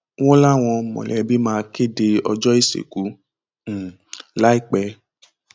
wọn láwọn mọlẹbí máa kéde ọjọ ìsìnkú um láìpẹ